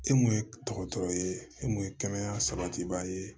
E mun ye dɔgɔtɔrɔ ye e mun ye kɛnɛya sabatibaa ye